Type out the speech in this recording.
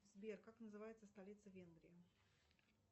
сбер как называется столица венгрии